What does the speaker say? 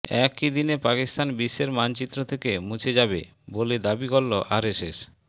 একই দিনে পাকিস্তান বিশ্বের মানচিত্র থেকে মুছে যাবে বলে দাবি করল আরএসএস